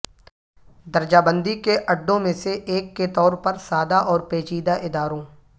درجہ بندی کے اڈوں میں سے ایک کے طور پر سادہ اور پیچیدہ اداروں